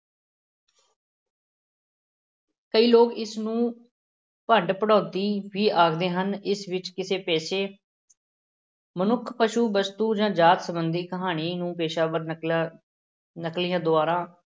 ਕਈ ਲੋਕ ਇਸ ਨੂੰ ਭੰਡ-ਭੰਡੌਤੀ ਵੀ ਆਖਦੇ ਹਨ, ਇਸ ਵਿੱਚ ਕਿਸੇ ਪੇਸ਼ੇ ਮਨੁੱਖ, ਪਸੂ, ਵਸਤੂ ਜਾਂ ਜਾਤ ਸੰਬੰਧੀ ਕਹਾਣੀ ਨੂੰ ਪੇਸ਼ਾਵਰ ਨਕਲਾਂ ਨਕਲੀਆਂ ਦੁਆਰਾ